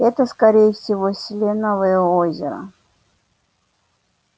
это скорее всего селеновое озеро